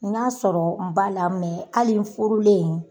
N y'a sɔrɔ n ba la mɛ hali n furulen,